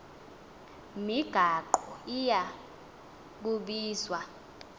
migaqo iya kubizwa